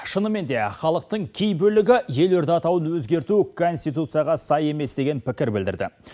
шынымен де халықтың кей бөлігі елорда атауын өзгерту конституцияға сай емес деген пікір білдірді